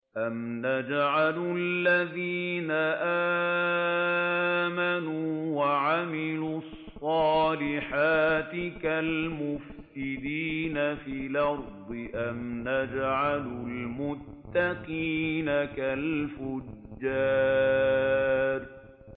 أَمْ نَجْعَلُ الَّذِينَ آمَنُوا وَعَمِلُوا الصَّالِحَاتِ كَالْمُفْسِدِينَ فِي الْأَرْضِ أَمْ نَجْعَلُ الْمُتَّقِينَ كَالْفُجَّارِ